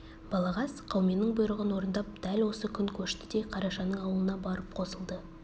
балағаз қауменнің бұйрығын орындап дәл осы күн көшті де қарашаның аулына барып қосылды